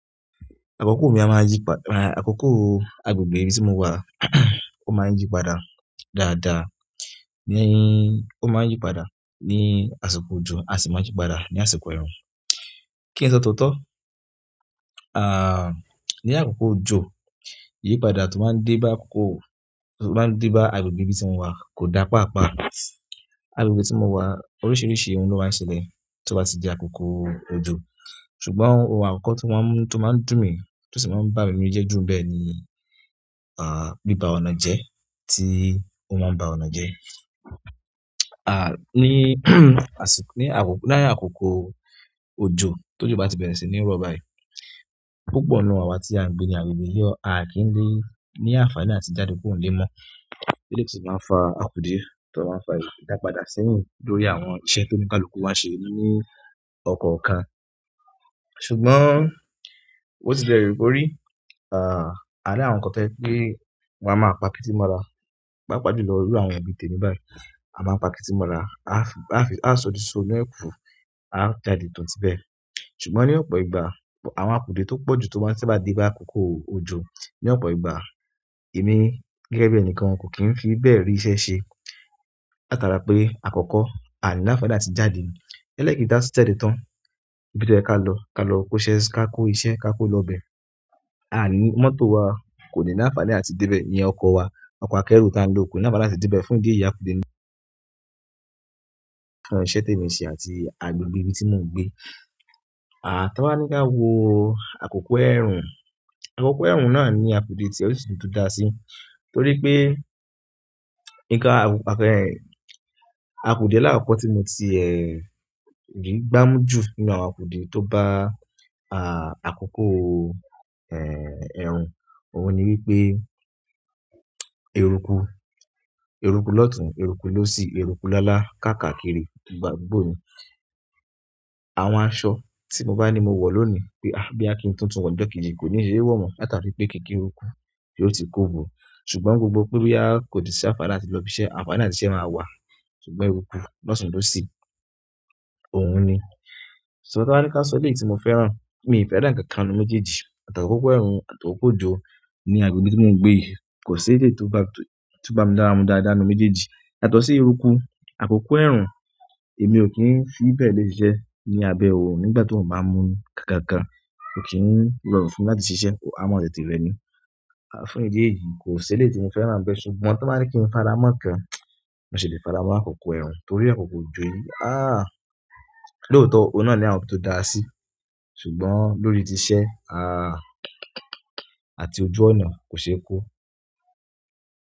Àkókò àgbègbè ibi tí mo wà, ó máa ń yí padà dáadáa. Ó máa ń yí padà ní àsìkò òjò, a sì máa ń yí padà ní àsìkò ẹ̀rùn. Kí n sọ tótọ́, ní àkókò òjò, iyipada tó bá ń dé bá àgbègbè ibi tí mo wà kò dáa pàápàá. Àgbègbè tí mo wà, oríṣiríṣi ohun ló máa ń ṣẹlẹ̀ tó bá ti di àkókò òjò. Ṣùgbọ́n ohun àkọ́kọ́ tó máa ń dùn mi, tó sì máa ń bà mí nínú jẹ́ jù n bẹ ni, bíbá ọ̀nà jẹ tí ó máa ń ba ọ̀nà jẹ. Ní àkókò òjò t'ójo bá ti bẹ̀rẹ̀ sí ní rọ̀ báyìí, púpọ̀ nínú àwa tí a ń gbé ní agbègbè yí, a kì í lé ní àǹfààní àti jáde kúrò n'ile mọ́. Èyí ni tí ó máa ń fa àkùde, tí ó máa ń fa ìdápadà sẹ́yìn lórí àwọn iṣẹ́ t'oníkálukù wáa n ṣe ní ọ̀kọ̀ọ̀kan. Ṣùgbọ́n bi o ti lè wu ko rí, à ri àwọn kan to jẹ pé wọ́n a máa pa kítí mọ́ra, paàpaajùlọ irú àwọn èèyàn bíi temi bai, a máa n pa kítí mọ́ra. A sọ di iso inú ẹ̀kù, a jáde toùn ti bẹ́ẹ̀. Ṣùgbọ́n ní ọ̀pọ̀ ìgbà, àwọn àkùde tó pọ̀jù tó bá ti dé bá àkókò òjò ní ọ̀pọ̀ ìgbà, èmi gẹ́gẹ́ bí ẹnìkan kò kí ń fi bẹ́ẹ̀ rí iṣẹ́ ṣe. Látara pe, akọ́kọ́ a ni ni àǹfààní àti jáde, ẹlẹ́ẹ̀kejì ta ba tun jáde tan ibi to yẹ ká lọ, ká lọ kó iṣẹ́ si. A ní mọ́tò wa kò ní àǹfààní àti débẹ̀. Ìyẹn ọkọ̀ wa, ọkọ̀ akero tí a ń lò kò ní ni àǹfààní àti dé bẹ̀ fún idí èyí àkùde ní àwọn iṣẹ́ tèmi n ṣe àti agbègbè tí mo ń gbé. T'aa ba ni ka wo akoko ẹrun, akoko ẹrun náà ni akude ti ẹ, o si ni ibi to daa si torí pe àkùde alakọkọ ti mo ti ẹ rí gbamu ju nínú àwọn àkùde to ba akoko ẹrun òun ni wípé eruku eruku l'ọtun, eruku l'osi, eruku lálá, kaakakiri àdúgbò ni àwọn aṣọ ti mo ba ni mo wọ loni, boya ki n tun tun wọ ni ọjọ́ kejì, ko nii ṣe wọ mọ, latari wípé kiki eruku yo ti ko bo, ṣùgbọ́n gbogbo pe boya ko ni s'anfani àti lọ ibi iṣẹ́, àǹfààní àti ṣiṣẹ́ maa wa, ṣùgbọ́n eruku l'ọtun, l'osi ṣùgbọ́n, ta ba ni kin sọ eléyìí ti mo fẹ́ràn, mi o fẹ́ràn ikankan nínú méjèèjì àti akoko, ẹrun o àti akoko ojo o ni agbègbè ibi ti mo n gbe yí ko si èyí to ba mi lára mu dáadáa nínú méjèèjì, yàtọ̀ si eruku akoko ẹrun èmi o ki n fi bẹ́ẹ̀ le ṣiṣẹ́ lábẹ́ oorun nigbati oorun ba n mu kankankan ko ki n rọrùn fún mi láti ṣiṣẹ́, a máa tètè rẹ mi fún idi èyí ko si eleyi ti mo fẹ́ran n bẹ, ṣùgbọ́n tan ba ni ki n faramọ ikan, mo ṣì le faramọ́ akoko ẹrun, torí akoko ojo yí ahhh! Lóòótọ́ ohun náà ni àwọn ibi to daa si ṣùgbọ́n lórí tíì iṣẹ́ àti ojú ọ̀nà ko ṣe ko.